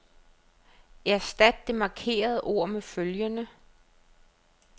Erstat det markerede ord med følgende.